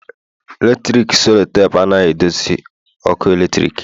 Eletrik selotapu anaghị eduzi ọkụ eletrik